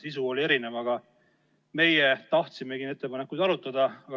Sisu oli erinev, aga meie tahtsime ettepanekuid arutada.